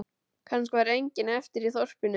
Kannski var enginn eftir í þorpinu.